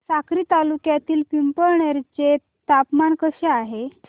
साक्री तालुक्यातील पिंपळनेर चे तापमान कसे आहे